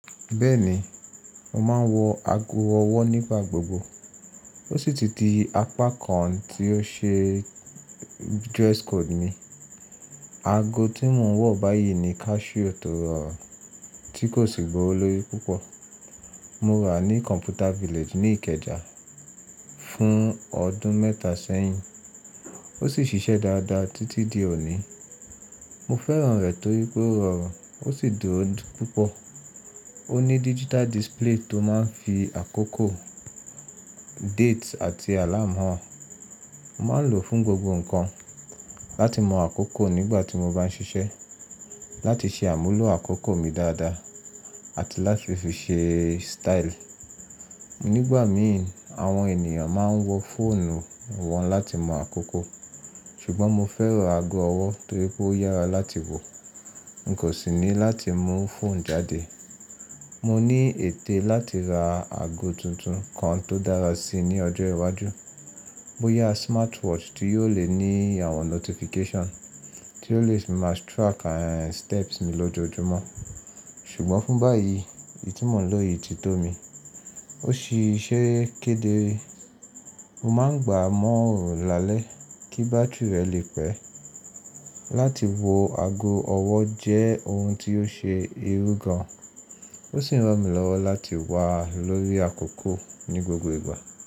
Bẹ́ẹ̀ni, mo máa ń wọ ago ọwọ́ nígbà gbogbo. Ó sì ti di apá kan tí ó ṣe dress code mi. Ago tí mo ń wọ̀ báyìí ni Casio tó rọ̀ tí kò sì gbọ́wọ́lórí púpọ̀. Mo ra ní Computer Village ní Ìkẹjà fún ọdún mẹ́ta sẹ́yìn. Ó sì ń ṣiṣẹ́ dáadáa títí di òní. Mo fẹ́ràn rẹ̀ torí pé ó rọrùn, ó sì dùro púpọ̀. Ó ní digital display tó máa ń fi àkókò, date àti alarm hàn. Mo máa ń lò fún gbogbo nǹkan. Láti mọ àkókò nígbà tí mo bá ń ṣiṣẹ́, láti ṣe àmúlò àkókò mi dáadáa àti láti fi ṣe style. Nígbà mìí, àwọn ènìyàn máa ń wọ fóònù wọn láti mọ àkókò. Ṣùgbọ́n mo fẹ́ràn ago ọwọ́ torí pé ó yára láti wọ̀. N kò sì ní láti mú fóònù jáde. Mo ní ète láti ra ago tuntun kan tó dára si ní ọjọ́ iwájú. Bóyá smartwatch tí yóò le ní àwọn notification, tí ó lè máa track steps mi lójoojúmọ́. Ṣùgbọ́n fún báyìí, èyí tí mò ń lò yìí ti tó mi. Ó ṣì ṣe kédere. Mo máa ń gbà á mọ́ òòrùn lálẹ́ kí bátírì rẹ̀ le pẹ́. Láti wọ ago ọwọ́ jẹ́ ohun tí ó ṣe irú gan. Ó sì ń rán mi lọ́wọ́ láti wà lórí àkókò ní gbogbo ìgbà.